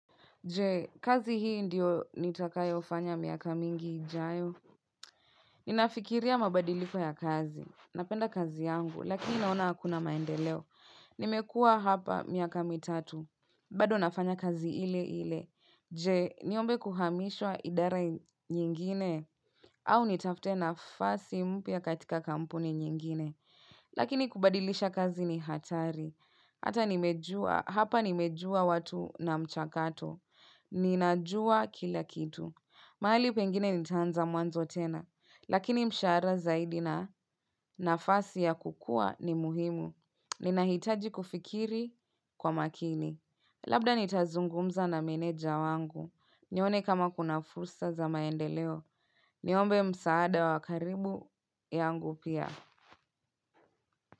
Je, kazi hii ndiyo nitakayofanya miaka mingi ijayo. Ninafikiria mabadiliko ya kazi. Napenda kazi yangu, lakini naona hakuna maendeleo. Nimekuwa hapa miaka mitatu. Bado nafanya kazi ile ile. Je, niombe kuhamishwa idara nyingine. Au nitafute nafasi mpya katika kampuni nyingine. Lakini kubadilisha kazi ni hatari. Hata nimejua, hapa nimejua watu na mchakato. Ninajua kila kitu. Mahali pengine nitaanza mwanzo tena. Lakini mshara zaidi na nafasi ya kukua ni muhimu. Ninahitaji kufikiri kwa makini. Labda nitazungumza na meneja wangu. Nione kama kuna fursa za maendeleo. Niombe msaada wa karibu yangu pia.